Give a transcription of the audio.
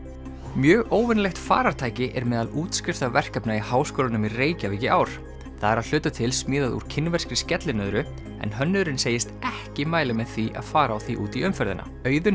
mjög óvenjulegt farartæki er meðal útskriftarverkefna í Háskólanum í Reykjavík í ár það er að hluta til smíðað úr kínverskri skellinöðru en hönnuðurinn segist ekki mæla með því að fara á því út í umferðina Auðunn